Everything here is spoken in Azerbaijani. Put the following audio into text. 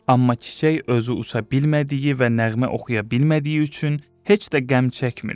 Amma çiçək özü uça bilmədiyi və nəğmə oxuya bilmədiyi üçün heç də qəm çəkmirdi.